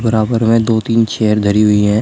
बराबर में दो तीन चेयर धरी हुई है।